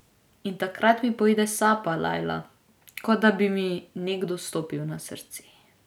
In takrat mi poide sapa, Lajla, kot da bi mi nekdo stopil na srce.